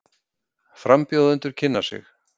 Frambjóðendur kynna sig